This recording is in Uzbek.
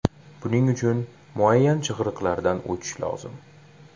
Buning uchun muayyan chig‘iriqlardan o‘tish lozim.